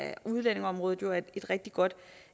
er udlændingeområdet jo et rigtig godt